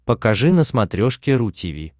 покажи на смотрешке ру ти ви